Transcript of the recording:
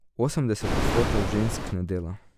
Osemdeset odstotkov žensk ne dela.